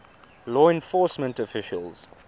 law enforcement officials